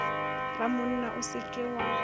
ramonna o se ke wa